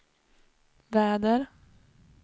väder